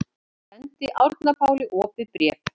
Sendir Árna Páli opið bréf